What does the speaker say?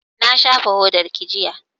Na shafa hodarki jiya